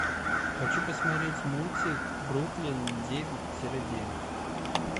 хочу посмотреть мультик бруклин девять тире девять